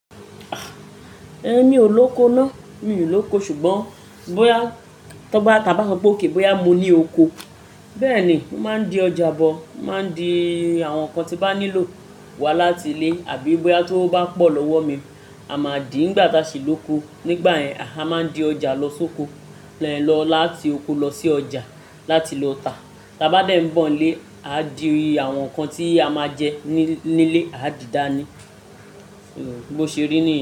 Ẹn mi o lóko náà míi lóko ṣùgbọ́n bóyá tó bá ta bá so pé òkè bóyá mo ní oko. Bẹ́ẹ̀ni, ó máa ń di ọjà bọ̀, ó máa ń di àwọn nǹkan tí ń bá nílò wá láti ilé àbí bóyá tí owó bá pọ̀ lọ́wọ́ mi, a máa dì í nígbà tí a ṣì lóko. Nígbà yẹn, a máa ń di ọjà lọ sóko. Tí é lọ láti oko lọ sí ọjà láti lọ ta. Táa bá dẹ̀ ń bọ̀ ń lé, á di àwọn nǹkan tí a máa jẹ nílé, á dìdá ní. Ni, bó ṣe rí nìyẹn.